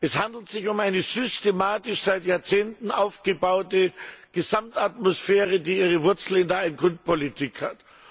Es handelt sich um eine systematisch seit Jahrzehnten aufgebaute Gesamtatmosphäre, die ihre Wurzeln in der Ein Kind Politik hat.